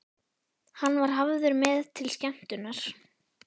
Hann var hafður með til skemmtunar.